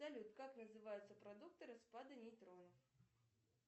салют как называются продукты распада нейтронов